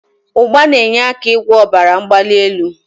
Ugba n'enye aka igwo obara mgbali eli